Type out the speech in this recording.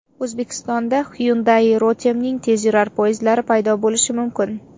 O‘zbekistonda Hyundai Rotem’ning tezyurar poyezdlari paydo bo‘lishi mumkin.